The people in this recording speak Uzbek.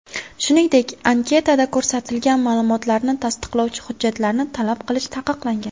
Shuningdek, anketada ko‘rsatilgan ma’lumotlarni tasdiqlovchi hujjatlarni talab qilish taqiqlangan.